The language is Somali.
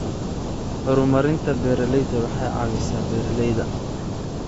Horumarinta beeralayda waxay caawisaa beeralayda.